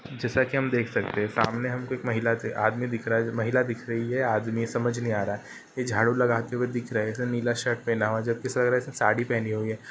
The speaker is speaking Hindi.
जैसा की हम देख सकते हैं सामने हमको एक महिला आदमी दिख रहा है महिला दिख रही है आदमी समझ नही आ रहा है झाड़ू लगाते हुए दिख रहे हैं नीला शर्ट पहना हुआ है जबकि ऐसा लग रहा है साड़ी पहनी हुई है।